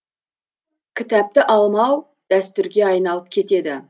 кітапты алмау дәстүрге айналып кетеді